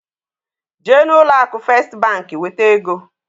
Jee na ụlọ akụ Fest bank weta egoǃ